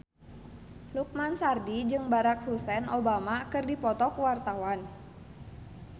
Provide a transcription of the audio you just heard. Lukman Sardi jeung Barack Hussein Obama keur dipoto ku wartawan